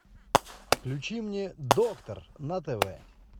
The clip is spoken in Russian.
включи мне доктор на тв